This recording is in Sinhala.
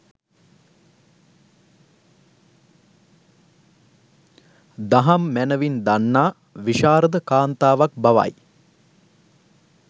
දහම් මැනැවින් දන්නා, විශාරද කාන්තාවක් බවයි.